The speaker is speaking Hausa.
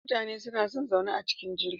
Mutane suna zaune a cikin jirgin